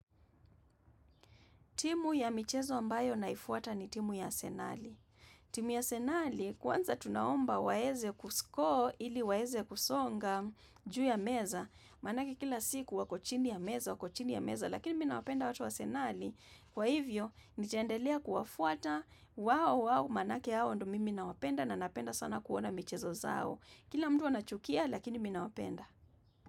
Timu ya michezo ambayo naifuata ni timu ya arsenali. Timu ya arsenali, kwanza tunaomba waeze kusko ili waeze kusonga juu ya meza. Manake kila siku wako chini ya meza wako chini ya meza, lakini mi nawapenda watu wa arsenali. Kwa hivyo, nitaendelea kuwafuata, wao, wao, manake hao ndio mimi nawapenda na napenda sana kuona michezo zao. Kila mtu anachukia, lakini mi nawapenda.